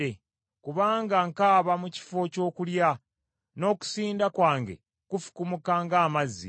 Kubanga nkaaba mu kifo ky’okulya, n’okusinda kwange kufukumuka ng’amazzi.